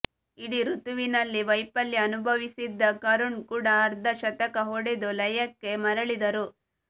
ಇಡೀ ಋತುವಿನಲ್ಲಿ ವೈಫಲ್ಯ ಅನುಭವಿಸಿದ್ದ ಕರುಣ್ ಕೂಡ ಅರ್ಧಶತಕ ಹೊಡೆದು ಲಯಕ್ಕೆ ಮರಳಿದರು